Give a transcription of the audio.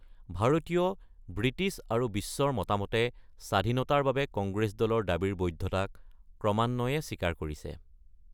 ভাৰতীয়, ব্ৰিটিছ আৰু বিশ্বৰ মতামতে স্বাধীনতাৰ বাবে কংগ্ৰেছ দলৰ দাবীৰ বৈধতাক ক্ৰমান্বয়ে স্বীকাৰ কৰিছে।